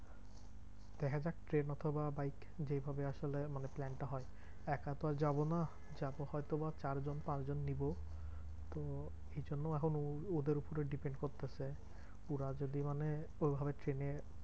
দেখা যাক ট্রেন অথবা বাইক যেইভাবে আসলে মানে plan টা হয়। একা তো আর যাবো না, যাবো হয়তো বা চারজন পাঁচজন নিবো তো এইজন্য এখন ওদের উপরে depend করতেছে পুরা যদি মানে ঐভাবে ট্রেনে